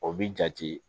O bi jate